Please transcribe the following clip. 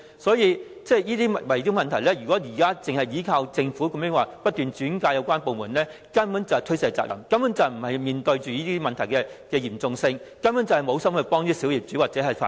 所以，就圍標問題而言，如果只靠政府把個案轉介有關部門，根本就是推卸責任，根本沒有面對問題的嚴重性，根本無心幫助小業主或法團。